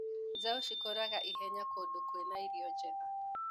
Njaũ cikũraga ihenya kũndũ kwĩna irio njega.